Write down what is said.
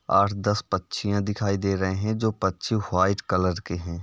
आठ दस पक्षियां दिखाय दे रहे हैं जो पक्षी वाईट कलर के हैं।